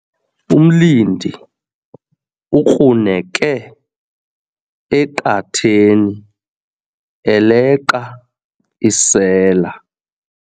Umlindi ukruneke eqatheni eleqa isela.